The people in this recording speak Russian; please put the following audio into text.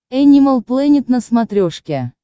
энимал плэнет на смотрешке